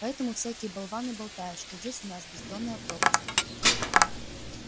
поэтому всякие болваны болтают что здесь у нас бездонная пропасть